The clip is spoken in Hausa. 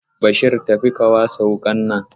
Bashir tafi ka wasa wuƙa nan!